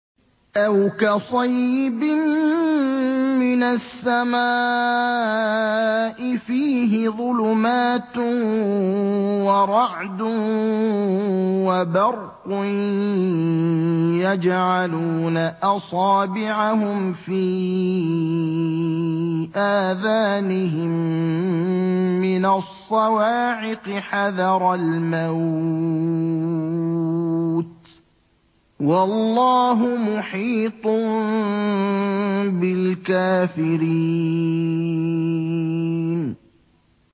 أَوْ كَصَيِّبٍ مِّنَ السَّمَاءِ فِيهِ ظُلُمَاتٌ وَرَعْدٌ وَبَرْقٌ يَجْعَلُونَ أَصَابِعَهُمْ فِي آذَانِهِم مِّنَ الصَّوَاعِقِ حَذَرَ الْمَوْتِ ۚ وَاللَّهُ مُحِيطٌ بِالْكَافِرِينَ